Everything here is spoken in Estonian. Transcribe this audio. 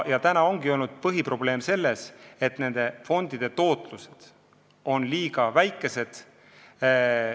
Põhiprobleem ongi olnud selles, et fondide tootlus on liiga väike.